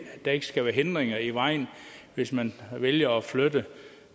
der ikke skal være hindringer i vejen hvis man vælger at flytte